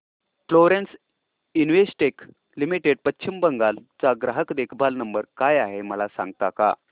Florence Investec limited Paschim Bangal चा ग्राहक देखभाल नंबर काय आहे मला सांगता का